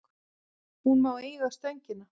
Hún má eiga Stöngina.